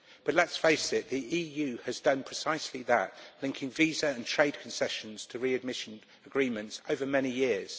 But let us face it, the EU has done precisely that, linking visa and trade concessions to readmission agreements over many years.